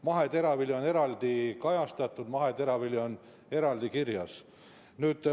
Maheteravili on eraldi kajastatud, see on eraldi kirjas.